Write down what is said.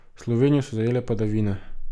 Slovenijo so zajele padavine.